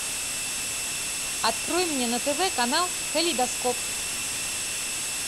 открой мне на тв канал калейдоскоп